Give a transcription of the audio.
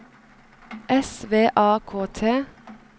S V A K T